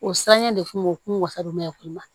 O siranɲɛ de kun wasa don mɛ o kun man